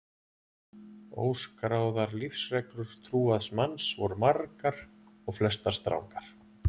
Óskráðar lífsreglur trúaðs manns voru margar og flestar strangar.